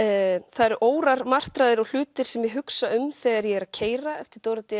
það eru órar martraðir og hlutir sem ég hugsa um þegar ég er að keyra eftir Dóra d